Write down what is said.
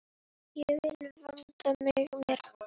Ég vil vanda mig meira.